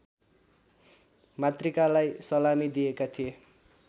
मातृकालाई सलामी दिएका थिए